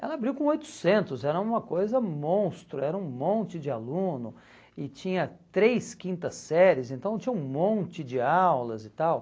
Ela abriu com oitocentos, era uma coisa monstro, era um monte de aluno e tinha três quintas séries, então tinha um monte de aulas e tal.